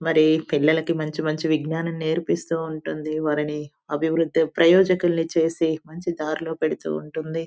మరి పిల్లలకి మంచి మంచి విజ్ఞానం నేర్పిస్తుంటే ఉంటుంది వాళ్ళని అభివృద్ధి ప్రయోజకలన్ని చేసి మంచి దారిలో పెడుతూ ఉంటుంది.